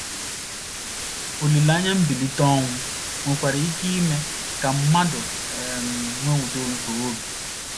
Olileanya mbilite n’ọnwụ nwekwara ike ime ka mmadụ um nwee udo nke obi.